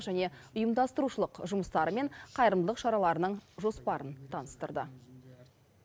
және ұйымдастырушылық жұмыстары мен қайырымдылық шараларының жоспарын таныстырды